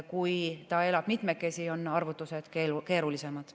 Kui ta elab mitmekesi, on arvutused keerulisemad.